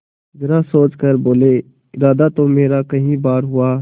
जरा सोच कर बोलेइरादा तो मेरा कई बार हुआ